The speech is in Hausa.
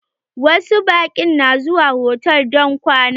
Wasu baƙin na zuwa hotal don kwana.